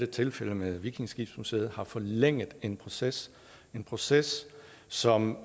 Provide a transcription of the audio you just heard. tilfældet med vikingeskibsmuseet har forlænget en proces en proces som